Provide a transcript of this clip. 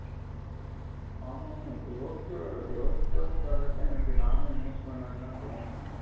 ஆமாமா இப்ப யோசிச்சி யோசிச்சி யோசிச்சி பார்க்கிற தான் எனக்கு நானும் invest பண்ணலாம்னு தோணுது